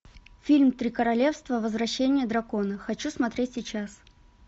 фильм три королевства возвращение дракона хочу смотреть сейчас